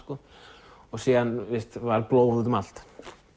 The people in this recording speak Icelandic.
síðan var blóð út um allt